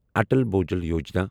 Atal Bhujal Yojana